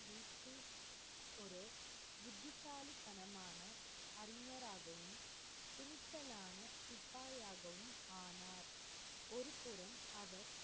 புத்திசாலித்தனமான அறிஞராகவும், துணிச்சலான சிப்பாயாகவும் ஆனார். ஒருபுறம் அவர்,